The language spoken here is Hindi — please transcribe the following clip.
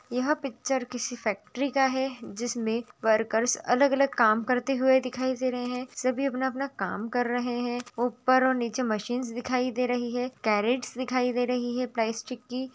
यह पिक्चर किसी फैक्टरी का है जिसमे वर्कर्स अलग-अलग काम करते हुए दिखाई दे रहे है सभी अपना अपना काम कर रहे है ऊपर और निचे मशीन्स दिखाई दे रही है केरेट्स दिखाई दे रही है प्राइस चिपकी--